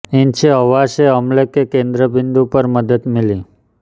इनसे हवा से हमले के केंद्र बिन्दु पर मदद मिली